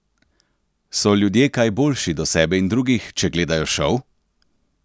So ljudje kaj boljši do sebe in drugih, če gledajo šov?